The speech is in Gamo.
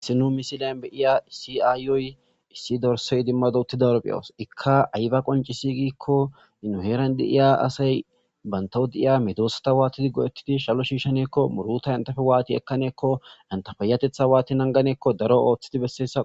Issi nu misilyan beiya si aayoy issi dorse idimmado uttidaro be'owos ikka ayba qoncisigikko inuheeran di iya asay bantawudi iya medoosata waatidi go'ettidi shalo shiishaneekko muruta entafe waati ekkaneekko intafayatetha waati nanganeekko daro ooththidi besseessa.